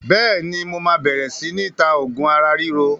Bẹ́ẹ̀ni, mo máa bẹ̀rẹ̀ si ni ta oògùn ara ríro